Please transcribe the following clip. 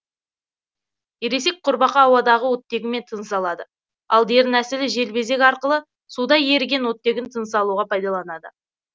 ересек құрбақа ауадағы оттегімен тыныс алады ал дернәсілі желбезек арқылы суда еріген оттегін тынысалуға пайдаланады